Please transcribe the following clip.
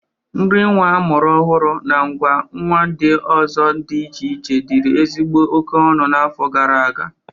Nri nwa amụrụ ọhụrụ, na ngwa nwa ndị ọzọ dị iche iche dịrị ezigbo oke ọnụ n'afọ gara aga.